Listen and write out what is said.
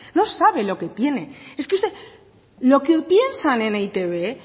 no sabe lo que tiene lo que piensan en e i te be